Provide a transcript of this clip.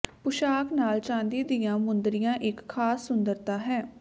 ਪੁਸ਼ਾਕ ਨਾਲ ਚਾਂਦੀ ਦੀਆਂ ਮੁੰਦਰੀਆਂ ਇੱਕ ਖਾਸ ਸੁੰਦਰਤਾ ਹੈ